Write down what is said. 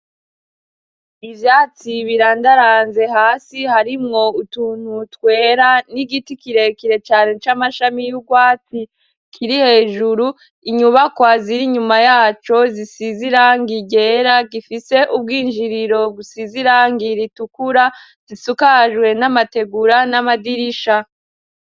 Ivyatsi birandaranze, hasi harimwo utuntu twera n'igiti kire kire cane c'amashami y'urwatsi. Kiri hejuru inyubakwa ziri inyuma yaco zisize irangi ryera, gifise ubw'injiriro busize irangi ritukura, zisukajwe n'amategura n'amadirisha.